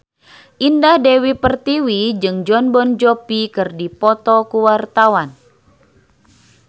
Indah Dewi Pertiwi jeung Jon Bon Jovi keur dipoto ku wartawan